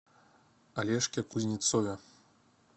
олежке кузнецове